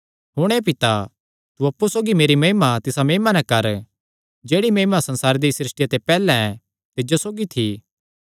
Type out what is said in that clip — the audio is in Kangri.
हुण हे पिता तू अप्पु सौगी मेरी महिमा तिसा महिमा नैं कर जेह्ड़ी महिमा संसारे दिया सृष्टिया ते पैहल्ले तिज्जो सौगी थी